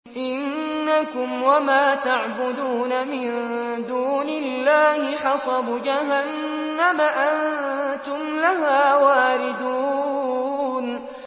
إِنَّكُمْ وَمَا تَعْبُدُونَ مِن دُونِ اللَّهِ حَصَبُ جَهَنَّمَ أَنتُمْ لَهَا وَارِدُونَ